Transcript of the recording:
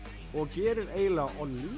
og gerir eiginlega